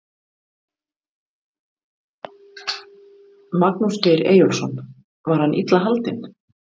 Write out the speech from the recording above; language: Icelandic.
Magnús Geir Eyjólfsson: Var hann illa haldinn?